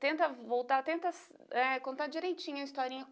Tenta voltar, tenta ah contar direitinho a historinha.